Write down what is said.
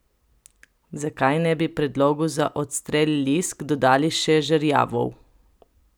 Zakaj ne bi predlogu za odstrel lisk dodali še žerjavov?